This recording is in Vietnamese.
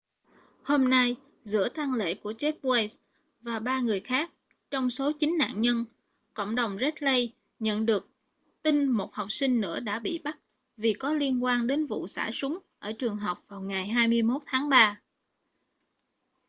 hôm nay giữa tang lễ của jeff weise và ba người khác trong số chín nạn nhân cộng đồng red lake nhận được tin một học sinh nữa đã bị bắt vì có liên quan đến vụ xả súng ở trường học vào ngày 21 tháng 3